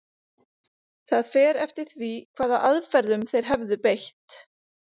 Það fer eftir því hvaða aðferðum þeir hefðu beitt.